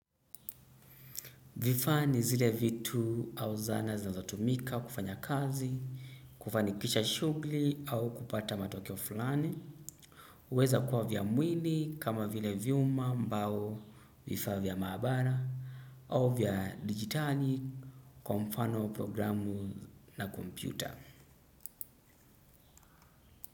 Vifaa ni zile vitu au zana zinazotumika kufanya kazi, kufanikisha shugli au kupata matokeo fulani. Uweza kuwa vya mwili kama vile vyuma mbao vifaa vya maabara au vya digitali kwa mfano programu na kompyuta.